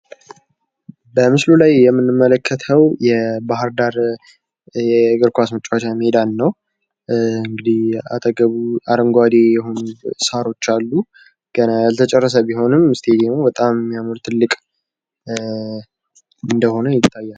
በምስሉ ላይ የምንመለከተው የባህር ዳር የእግርኳስ መጫዎቻ ሜዳን ነው ፤ አጠገቡ አረንጓዴ ሳሮች አሉ። ገና ያልተጨረሰ ቢሆንም እስታዲየሙ በታም ያምራል።